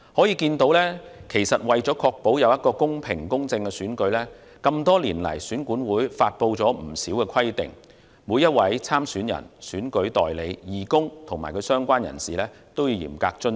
由此可見，為確保有一個公平和公正的選舉，選管會多年來發布了不少規定，每位參選人、選舉代理、義工及其他相關人士均須嚴格遵守。